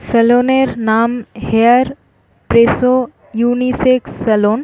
salon - এর নাম hair presso unisex salon --